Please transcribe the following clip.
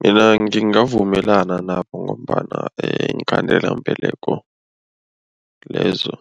Mina ngingavumelana nabo ngombana iinkhandelambeleko lezo